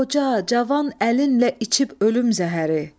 Qoca, cavan əlinlə içib ölüm zəhəri.